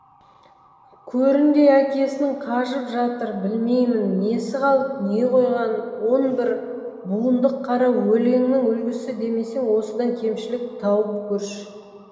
көріндей әкесінің қажып жатыр білмеймін несі қалып не қойғанын он бір буындық қара өлеңнің үлгісі демесең осыдан кемшілік тауып көрші